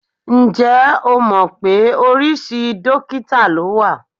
Ǹjẹ́ o mọ̀ pé oríṣi dókítà ló wà?